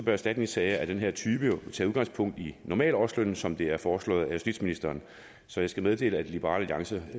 erstatningssager af den her type tage udgangspunkt i normalårslønnen som det er foreslået af justitsministeren så jeg skal meddele at liberal alliance